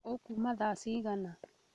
Ũkuuma tha cigana?